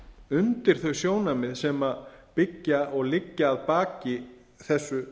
undir þau sjónarmið sem byggja og liggja að baki þessu